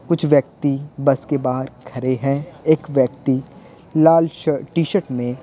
कुछ व्यक्ति बस के बाहर खड़े हैं एक व्यक्ति लाल शर्ट टी-शर्ट में--